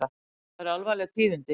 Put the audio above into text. Og það eru alvarleg tíðindi.